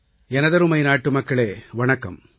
எனதருமை நாட்டுமக்களே வணக்கம்